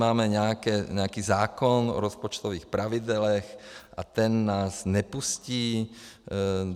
Máme nějaký zákon o rozpočtových pravidlech a ten nás nepustí.